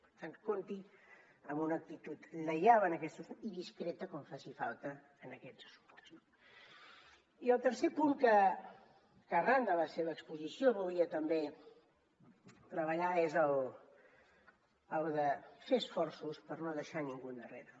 per tant compti amb una actitud lleial i discreta quan faci falta en aquests assumptes no i el tercer punt que arran de la seva exposició volia també treballar és el de fer esforços per no deixar ningú endarrere